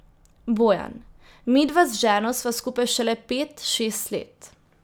Bojan: 'Midva z ženo sva skupaj šele pet, šest let.